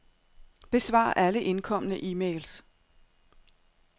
Besvar alle indkomne e-mails.